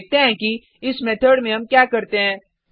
अब देखते हैं कि इस मेथड में हम क्या करते हैं